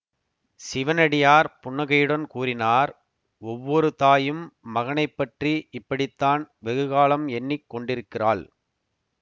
சிவனடியார் புன்னகையுடன் கூறினார் ஒவ்வொரு தாயும் மகனை பற்றி இப்படித்தான் வெகுகாலம் எண்ணி கொண்டிருக்கிறாள்